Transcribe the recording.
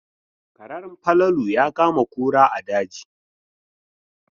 Karen Falalu ya kama kura a daji.